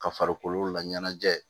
Ka farikolo laɲɛnajɛ